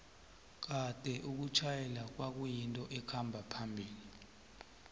kade ukutjala kwayinto ekhamba phambili